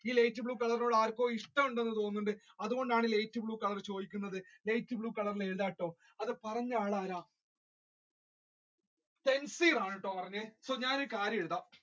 blue colour ആർക്കോ ഇഷ്ടമുണ്ടെന്ന് തോന്നുന്നുണ്ട് അതുകൊണ്ടാണ് light blue colour ചോദിക്കുന്നത് light blue colour ഇൽ എഴുതാട്ടോ അത് പറഞ്ഞ ആൾ ആരാണ് സെൽഫിർ ആണ് കേട്ടോ ഞാൻ ഈ കാര്യം എഴുതാ